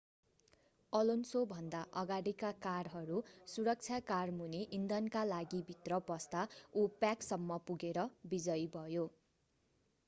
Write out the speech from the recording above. अलोन्सोभन्दा अगाडीका कारहरू सुरक्षा कारमुनि इन्धनका लागिभित्र पस्दा उ प्याकसम्म पुगेर विजयी भयो